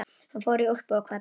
Hann fór í úlpu og kvaddi.